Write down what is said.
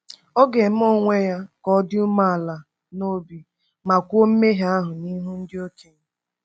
Ọ ga-eme onwe ya ka ọ dị umeala n’obi ma kwuo mmehie ahụ n’ihu ndị okenye.